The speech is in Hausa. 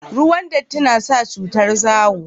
ruwan datti na sa cutar zawo